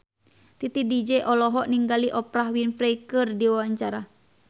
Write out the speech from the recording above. Titi DJ olohok ningali Oprah Winfrey keur diwawancara